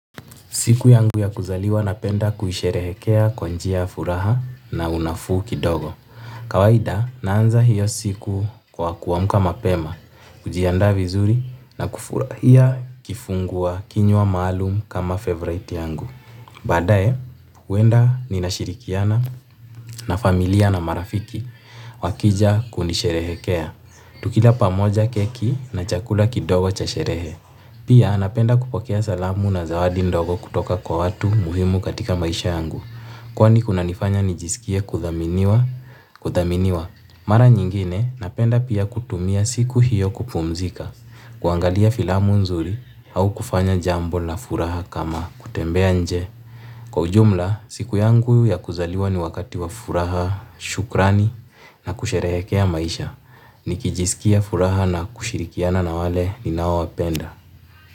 Siku yangu ya kuzaliwa napenda kuisherehekea kwa njia ya furaha na unafuu kidogo. Kawaida, naanza hiyo siku kwa kuamka mapema, kujiandaa vizuri na kufurahia kifungua kinywa maalum kama favorite yangu. Baadaye, huenda ninashirikiana na familia na marafiki wakija kunisherehekea. Tukila pamoja keki na chakula kidogo cha sherehe. Pia napenda kupokea salamu na zawadi ndogo kutoka kwa watu muhimu katika maisha yangu. Kwa kunanifanya nijisikie kuthaminiwa. Mara nyingine napenda pia kutumia siku hiyo kupumzika. Kuangalia filamu nzuri au kufanya jambo la furaha kama kutembea nje. Kwa ujumla, siku yangu ya kuzaliwa ni wakati wa furaha, shukrani na kusherehekea maisha. Nikijisikia furaha na kushirikiana na wale ninaowapenda.